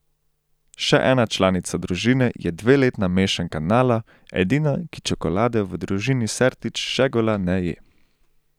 Še en članica družine je dveletna mešanka Nala, edina, ki čokolade v družini Sertič Šegula ne je.